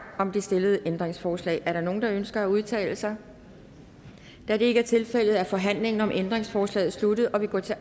om det stillede ændringsforslag er der nogen der ønsker at udtale sig da det ikke er tilfældet er forhandlingen om ændringsforslaget sluttet og vi går til